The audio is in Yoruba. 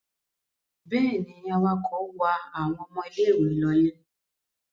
Bẹ́ẹ̀ ni, awakọ̀ wa àwọn ọmọ ilé-ìwé lọlé.